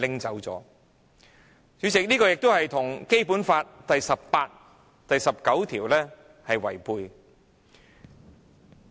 主席，這與《基本法》第十八條及第十九條相違背。